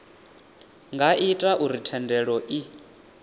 nga ita uri thendelo i